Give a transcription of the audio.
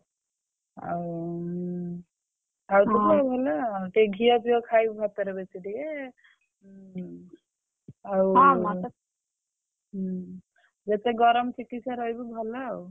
ଆଉ ଉଁ ଆଉ ଖାଉଥିବୁ ଭଲ ଟିକେ ଘିଅ ଫିଅ ଖାଇବୁ ଭାତରେ ବେଶୀ ଟିକେ ହୁଁ ଯେତେ ଗରମ ଚିକିତ୍ସାରେ ରହିବୁ ଭଲ ଆଉ।